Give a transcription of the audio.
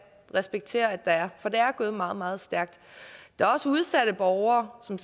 respektere at der er for det er gået meget meget stærkt der er også udsatte borgere som